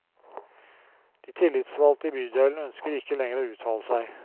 De tillitsvalgte i bydelen ønsker ikke lenger å uttale seg.